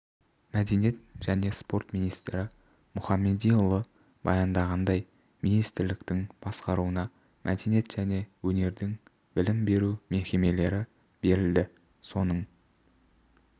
мәдениет және спорт министрі мұхамедиұлы баяндағандай министрліктің басқаруына мәдениет және өнердің білім беру мекемелері берілді соның